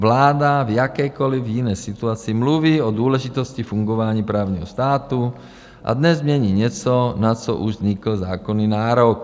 Vláda v jakékoliv jiné situaci mluví o důležitosti fungování právního státu, a dnes změní něco, na co už vznikl zákonný nárok.